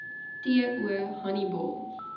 t o honiball